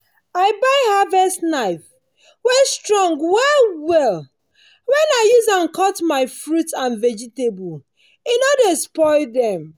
i buy harvest knife wey strong well well. when i use am cut my fruits and vegetable e no dey spoil them.